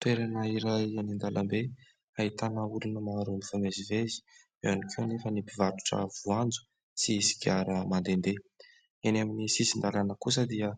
Toerana iray eny an-dalambe ahitana olona maro mifamezivezy. Eo ihany koa nefa ny mpivarotra voanjo sy sigara mandende. Eny amin'ny sisin-dalàna kosa dia